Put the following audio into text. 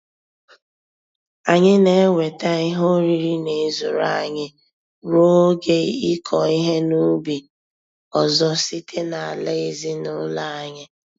Anyị na-enweta ihe oriri n'ezuru anyị ruo oge ịkọ ihe n'ubi ọzọ site n'ala ezinụlọ anyị